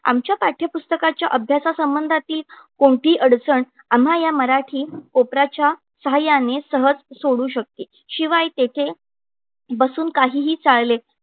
आमच्या पाठ्यपुस्तकाच्या अभ्यासासंबंधातील कोणतीही अडचण आम्हा या मराठी कोपऱ्याच्या सहाय्याने सहज सोडवू शकते. शिवाय तेथे बसून काहीही चाळले